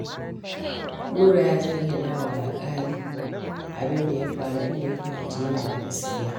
Nura ya zayyana wa alƙali abin da ya faru, inda ya fahimci yana da gaskiya.